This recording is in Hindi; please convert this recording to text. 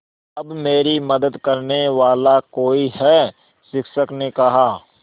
अब मेरी मदद करने वाला कोई है शिक्षक ने कहा